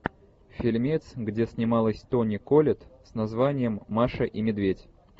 фильмец где снималась тони коллетт с названием маша и медведь